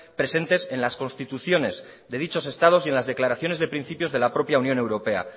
presentes en las constituciones de dichos estados y en las declaraciones de principios de la propia unión europea